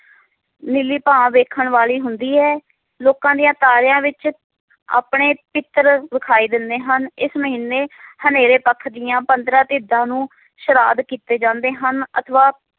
ਨੀਲੀ ਭਾਅ ਵੇਖਣ ਵਾਲੀ ਹੁੰਦੀ ਹੈ ਲੋਕਾਂ ਦੀਆਂ ਤਾਰਿਆਂ ਵਿਚ ਆਪਣੇ ਪਿਤ੍ਰ ਵਿਖਾਈ ਦਿੰਦੇ ਹਨ ਇਸ ਮਹੀਨੇ ਹਨੇਰੇ ਪੱਖ ਦੀਆਂ ਪੰਦ੍ਰਹ ਧੀਦਾ ਨੂੰ ਸ਼ਰਾਧ ਕੀਤੇ ਜਾਂਦੇ ਹਨ ਅਥਵਾ